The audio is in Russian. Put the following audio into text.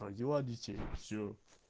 родила детей всё